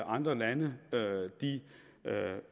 andre lande